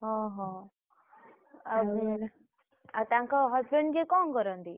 ଅହୋ ଆଉ ତାଙ୍କ husband ଯିଏ କଣ କରନ୍ତି?